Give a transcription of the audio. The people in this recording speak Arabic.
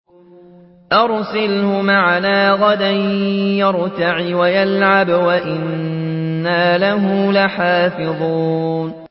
أَرْسِلْهُ مَعَنَا غَدًا يَرْتَعْ وَيَلْعَبْ وَإِنَّا لَهُ لَحَافِظُونَ